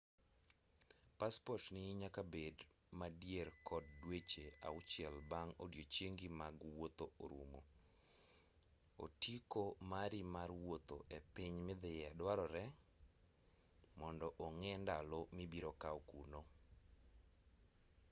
paspotni nyakabed madier kod dweche auchiel bang' odiochiengi mag wuoth rumo otiko mari mar wuotho epiny midhiye dwarore mondo ong'e ndalo mibiro kaw kuno